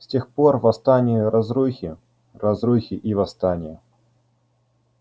с тех пор восстания разрухи разрухи и восстания